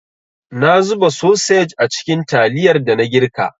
Na zuba sosej a cikin taliyar dana girka.